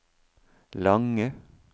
lange